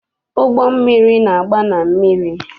Ụgbọmmiri na-agba na mmiri.